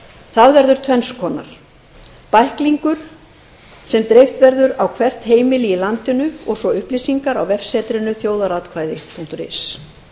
það verður tvenns konar annars vegar bæklingur sem dreift verður á hvert heimili í landinu og hins vegar upplýsingar á vefsetrinu þjóðaratkvæði punktur is